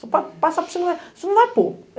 Passa por cima, mas cocê não vai pôr.